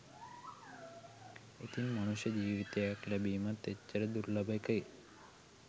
ඉතින් මනුෂ්‍ය ජීවිතයක් ලැබීමත් එච්චර දුර්ලභ එකේ